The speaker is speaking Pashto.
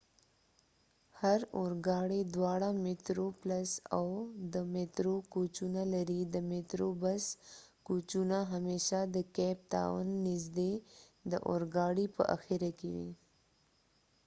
هر اورګاړی دواړه میترو پلس او د میترو کوچونه لري د میترو بس کوچونه همیشه د کیپ تاون نژدې د اورګاړي په اخره کې وي